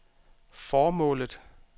formålet